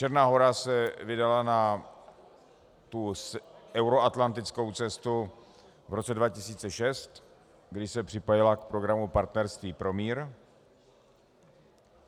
Černá Hora se vydala na euroatlantickou cestu v roce 2006, kdy se připojila k programu Partnerství pro mír.